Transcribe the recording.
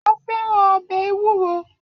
A fẹ́ràn ọbẹ̀ ewúro